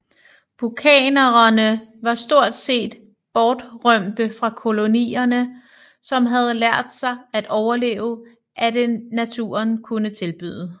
Bukkanererne var stort set bortrømte fra kolonierne som havde lært sig at overleve af det naturen kunne tilbyde